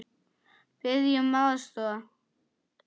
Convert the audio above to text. Biðja um aðstoð!